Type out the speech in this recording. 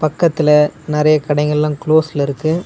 பக்கத்துல நறைய கடைங்கல்லா குளோஸ்ல இருக்கு.